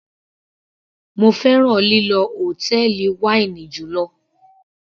Mo fẹ́ràn lílọ hòtẹ́ẹ̀lì wáínì jùlọ.